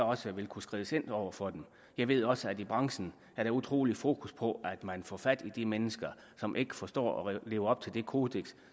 også kunne skrides ind over for det jeg ved også at man i branchen har et utrolig stort fokus på at man får fat i de mennesker som ikke forstår at leve op til det kodeks